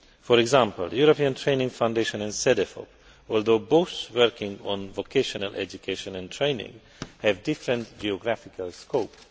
For example, the European Training Foundation and Cedefop, although both working on vocational education and training, have different geographical scope.